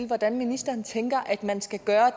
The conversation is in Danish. hvordan ministeren tænker at man skal gøre